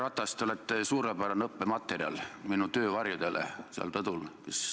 Härra Ratas, te olete suurepärane õppematerjal minu töövarjudele seal rõdul.